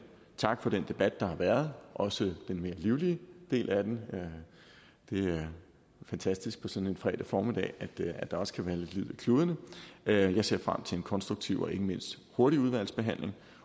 takke for den debat der har været også den mere livlige del af den det er fantastisk på sådan en fredag formiddag at der også kan være lidt liv i kludene jeg ser frem til en konstruktiv og ikke mindst hurtig udvalgsbehandling